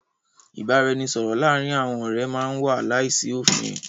Ìbáraẹnisọ̀rọ̀ láàárín àwọn ọ̀rẹ́ má n wà láìsí òfin.